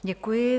Děkuji.